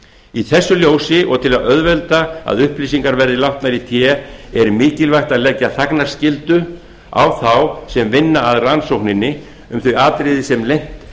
í þessu ljósi og til að auðvelda að upplýsingar verði látnar í té er mikilvægt að leggja þagnarskyldu á þá sem vinna að rannsókninni um þau atriði sem leynt